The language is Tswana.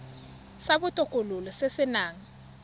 sa botokololo se se nang